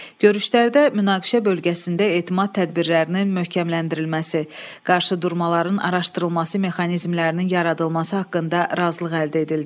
Görüşlərdə münaqişə bölgəsində etimad tədbirlərinin möhkəmləndirilməsi, qarşıdurmaların araşdırılması mexanizmlərinin yaradılması haqqında razılıq əldə edildi.